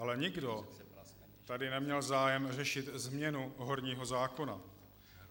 Ale nikdo tady neměl zájem řešit změnu horního zákona.